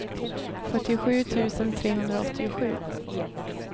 fyrtiosju tusen trehundraåttiosju